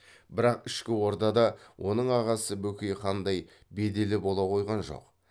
бірақ ішкі ордада оның ағасы бөкей хандай беделі бола қойған жоқ